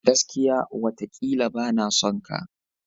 Gaskiya! watakila bana son ka.